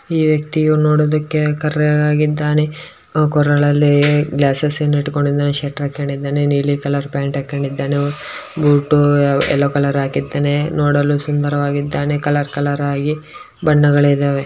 ಈ ವ್ಯಕ್ತಿಯು ನೋಡೋದುಕ್ಕೆ ಕರ್ರಗೆ ಆಗಿದ್ದಾನೆ ಕೊರಳಲ್ಲಿ ಗ್ಲಾಸೆಸ್ ಅನ್ನು ಇಟ್ಕೊಂಡಿದ್ದಾನೆ ಶ್ವೇಟರ್ ಹಾಕೊಂಡಿದ್ದಾನೆ ನೀಲಿ ಕಲರ್ ಪ್ಯಾಂಟ್ ಹಾಕೊಂಡಿದ್ದಾನೆ ಬೂಟು ಎಲ್ಲೋ ಕಲರ್ ಹಾಕಿದ್ದಾನೆ ನೋಡಲು ಸುಂದರವಾಗಿದ್ದಾನೆ ಕಲರ್ ಕಲರ್ ಆಗಿ ಬಣ್ಣಗಳಿದ್ದಾವೆ .